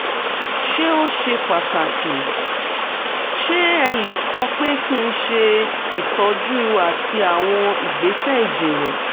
ṣé ó ṣe pàtàkì?ṣé ẹ lè sọ pé kí n ṣe ìtọ́jú àti àwọn ìgbésẹ̀ ìjìnlẹ̀?